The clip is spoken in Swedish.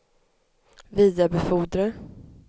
vidarebefordra